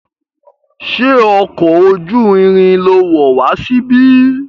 Ṣé ọkọ̀ ojú irin lo wọ̀ wá síbí?